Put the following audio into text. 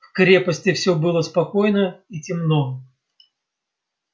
в крепости все было спокойно и темно